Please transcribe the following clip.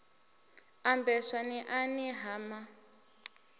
ambeswa n iani ha ma